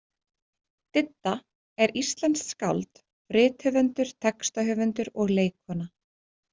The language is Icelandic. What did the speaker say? Didda er íslenskt skáld, rithöfundur, textahöfundur og leikkona.